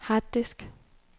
harddisk